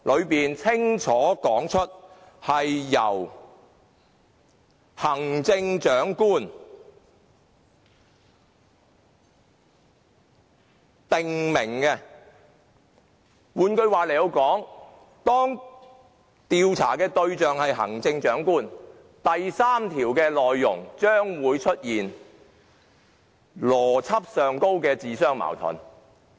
當中清楚訂明是由行政長官許可，換句話說，當調查對象是行政長官，第3條的內容將會出現邏輯上的矛盾。